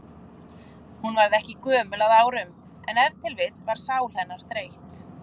Hún varð ekki gömul að árum, en ef til vill var sál hennar þreytt.